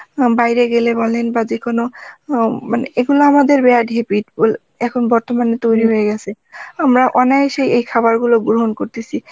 বাইরে গেলে বলেন বাজে কোন উম এগুলো আমাদের bad habit এখন বর্তমানে তৈরী হয়ে গেসে আমরা অনায়াসেই এই খাবারগুলো গ্রহণ করতেসি